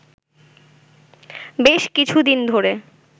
বেশ কিছুদিন ধরে